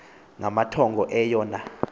ngamathongo eyo na